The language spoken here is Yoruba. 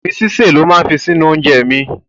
Ìgbín sísè lo máa fi sí inú oúnjẹ mi.